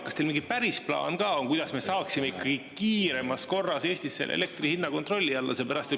Kas teil mingi päris plaan ka on, kuidas me saaksime ikkagi kiiremas korras Eestis selle elektri hinna kontrolli alla?